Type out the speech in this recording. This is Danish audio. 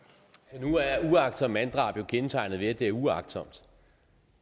nu er uagtsomt manddrab jo kendetegnet ved at det er uagtsomt